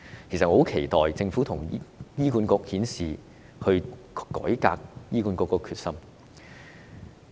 我很期待政府與醫管局顯示改革醫管局的決心。